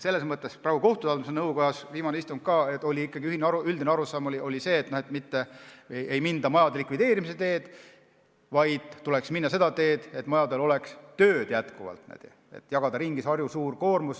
Kohtute haldamise nõukojas oli viimasel istungil üldine arusaam see, et mitte minna majade likvideerimise teed, vaid tuleks minna seda teed, et majades oleks tööd, tuleks jagada ümber see Harju Maakohtu suur koormus.